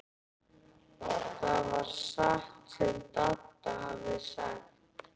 Það var satt sem Dadda hafði sagt.